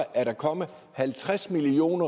er der kommet halvtreds million